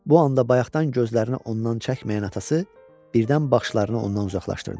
Bu anda bayaqdan gözlərini ondan çəkməyən atası birdən başını ondan uzaqlaşdırdı.